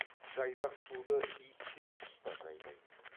жайдақ суды ит те құс та жалайды